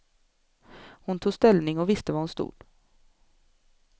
Hon tog ställning och visste var hon stod.